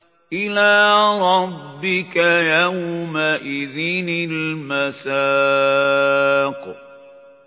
إِلَىٰ رَبِّكَ يَوْمَئِذٍ الْمَسَاقُ